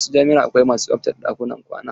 A wasu jami'a akwai masu tsaftace ɗakunan kwana.